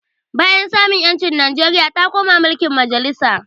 Bayan samun ƴanci Nijeria ta koma mulkin majalisa